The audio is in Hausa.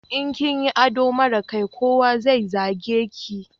In kinyi ado mara kyai, kowa zai zage ki